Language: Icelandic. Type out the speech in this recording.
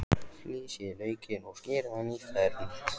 Flysjið laukinn og skerið í fernt.